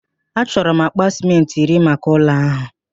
Achọrọ m akpa sịmentị iri maka ụlọ ahụ.